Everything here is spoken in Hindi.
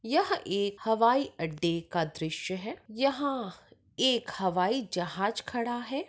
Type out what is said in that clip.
यह एक हवाई अड़े का दृश्य है। यहा एक हवाई जहाज खड़ा है।